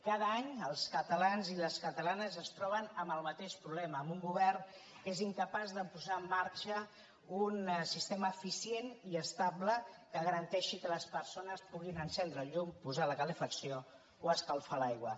cada any els catalans i les catalanes es troben amb el mateix problema amb un govern que és incapaç de posar en marxa un sistema eficient i estable que garanteixi que les persones puguin encendre la llum posar la calefacció o escalfar l’aigua